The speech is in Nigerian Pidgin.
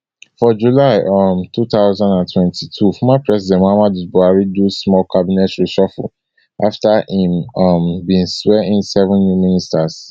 for july um two thousand and twenty-two former president muhammadu buhari do small cabinet reshuffle afta im um bin swear in seven new ministers